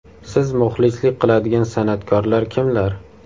Siz muxlislik qiladigan san’atkorlar kimlar?